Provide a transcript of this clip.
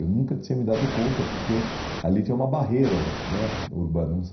Eu nunca tinha me dado conta, porque ali tinha uma barreira né urbana não sie